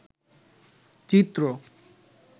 চিত্র